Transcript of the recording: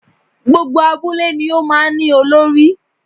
Gbogbo abúlé ni ó máa ní Olórí